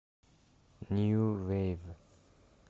нью вейв